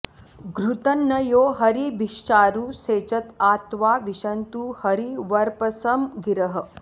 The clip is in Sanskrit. घृतं न यो हरिभिश्चारु सेचत आ त्वा विशन्तु हरिवर्पसं गिरः